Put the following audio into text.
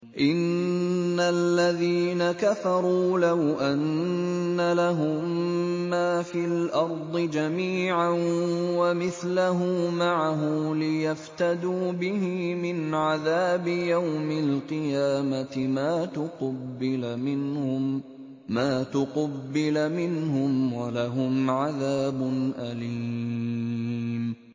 إِنَّ الَّذِينَ كَفَرُوا لَوْ أَنَّ لَهُم مَّا فِي الْأَرْضِ جَمِيعًا وَمِثْلَهُ مَعَهُ لِيَفْتَدُوا بِهِ مِنْ عَذَابِ يَوْمِ الْقِيَامَةِ مَا تُقُبِّلَ مِنْهُمْ ۖ وَلَهُمْ عَذَابٌ أَلِيمٌ